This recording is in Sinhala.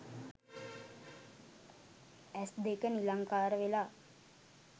ඇස් දෙක නිලංකාර වෙලා